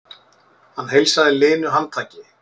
Hann heilsaði linu handtaki.